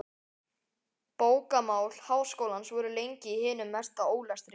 Bókamál Háskólans voru lengi í hinum mesta ólestri.